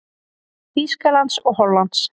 Þýskalands og Hollands.